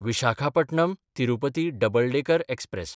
Visakhapatnam Tirupati double decker express